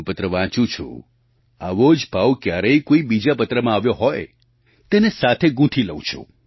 હું પત્ર વાંચું છું આવો જ ભાવ ક્યારેક કોઈ બીજા પત્રમાં આવ્યો હોય તેને સાથે ગૂંથી લઉં છું